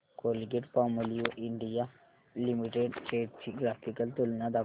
Colgate Palmolive India limited shares ची graphical तुलना दाखव